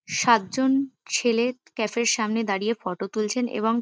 সাতজন ছেলে ক্যাফে -র সামনে দাঁড়িয়ে ফটো তুলছেন এবং--